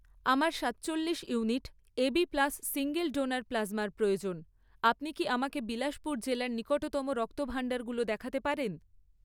আমার সাতচল্লিশ unit AB plus single donor প্লাজমার প্রয়োজন, আপনি কি আমাকে বিলাসপুর জেলার নিকটতম রক্তভাণ্ডারগুলো দেখাতে পারেন?